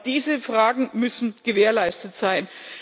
Aber diese Dinge müssen gewährleistet sein.